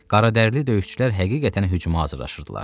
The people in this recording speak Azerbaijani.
Qaradərli döyüşçülər həqiqətən hücuma hazırlaşırdılar.